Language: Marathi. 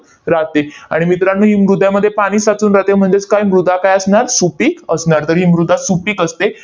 राहते. आणि मित्रांनो, ही मृदामध्ये पाणी साचून राहते म्हणजेच काय मृदा काय असणार? सुपीक असणार. तर ही मृदा सुपीक असते.